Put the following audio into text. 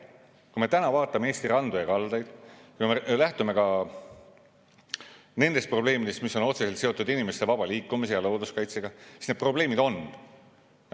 Kui me täna vaatame Eesti randu ja kaldaid, kui me lähtume ka nendest probleemidest, mis on otseselt seotud inimeste vaba liikumise ja looduskaitsega, siis need probleemid on.